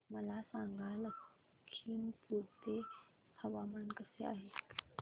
मला सांगा लखीमपुर चे हवामान कसे आहे